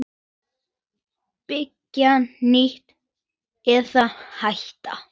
Byggja nýtt- eða hætta?